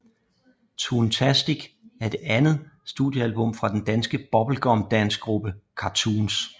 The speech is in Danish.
Toontastic er det andet studiealbum fra den danske bubblegum dancegruppe Cartoons